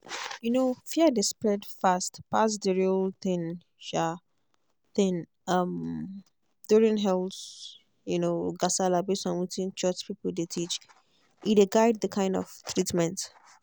um fear dey spread fast pass the real thing um thing um during health um gasala base on wetin church people dey teach e dey guide the kind of treatment.